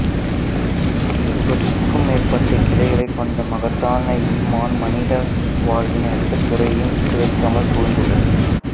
எழுபதிற்கும் மேற்பட்ட கிளைகளைக் கொண்ட மகத்தான ஈமான் மனித வாழ்வின் எந்தத் துறையையும் விட்டுவைக்காமல் சூழ்ந்துள்ளது